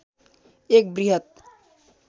एक वृहत